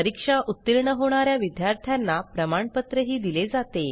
परीक्षा उत्तीर्ण होणा या विद्यार्थ्यांना प्रमाणपत्रही दिले जाते